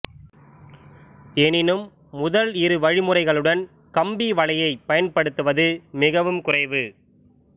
எனினும் முதல் இரு வழிமுறைகளுடன் கம்பிவலையைப் பயன்படுத்துவது மிகவும் குறைவு